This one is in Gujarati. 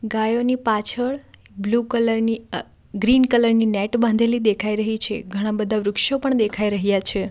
ગાયોની પાછળ બ્લુ કલર ની ગ્રીન કલર ની નેટ બાંધેલી દેખાઈ રહી છે ઘણાંબધા વૃક્ષો પણ દેખાઈ રહ્યા છે.